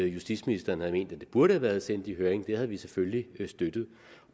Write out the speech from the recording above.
justitsministeren havde ment at det burde have været sendt i høring det havde vi selvfølgelig støttet og